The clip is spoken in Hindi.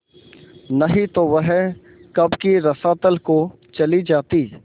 नहीं तो वह कब की रसातल को चली जाती